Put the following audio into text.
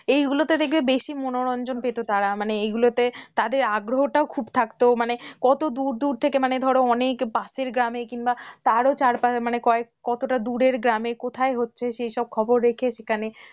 এইগুলোতে দেখবে বেশি মনোরঞ্জন পেতো তারা মানে এগুলোতে তাদের আগ্রহটাও খুব থাকতো মানে কত দূর দূর থেকে মানে ধরো, অনেক পাশের গ্রামের কিংবা তারও চার পাঁচ কয় কতটা দূরে গ্রামের কোথায় হচ্ছে সে সব খবর রেখে সেখানে,